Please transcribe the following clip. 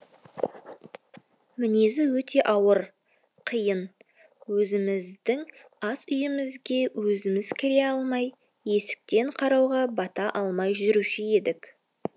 мінезі өте ауыр қиын өзіміздің ас үйімізге өзіміз кіре алмай есіктен қарауға бата алмай жүруші едік